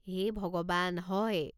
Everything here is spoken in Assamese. হে ভগৱান, হয়!